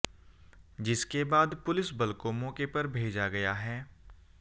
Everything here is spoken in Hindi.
जिसके बाद पुलिस बल को मौके पर भेजा गया है